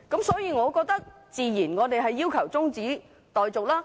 所以，我們自然要求中止待續。